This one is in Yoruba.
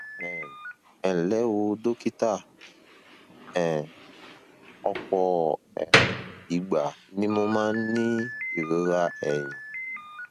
um ẹ ńlẹ o dókítà um ọpọ um ìgbà ni mo máa ń ní ìrora ẹyìn